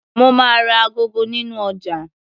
Mo máa ra agogo nínú ọjà.